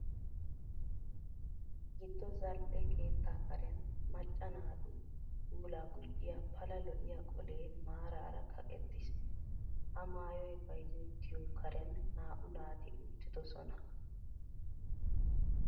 Giddo zal"e keettaa karen macca naatu puulaa gujjiya pala lo'iya qolee maaraara kaqettiis. Ha maayoy bayzettiyo Karen naa"u naati uttidosona.